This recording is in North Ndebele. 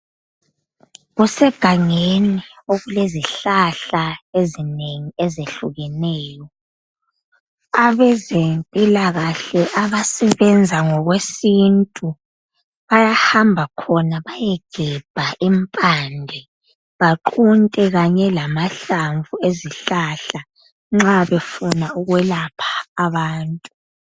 Kusegangeni okulezihlahla ezinengi ezehlukeneyo abezempilakahle abasebenza ngokwesintu bayahamba khona bayegebha impande baqunte kanye lamahlamvu ezihlahla nxa befuna ukwelapha abantu.